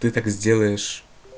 ты так сделаешь